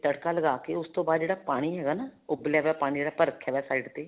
ਤੜਕਾ ਲਗਾਕੇ ਉਸ ਤੋਂ ਬਾਅਦ ਜਿਹੜਾ ਪਾਣੀ ਹੈਗਾ ਨਾ ਉੱਬਲਿਆ ਹੋਇਆ ਪਾਣੀ ਜਿਹੜਾ ਆਪਾਂ ਰੱਖਿਆ ਹੋਇਆ side ਤੇ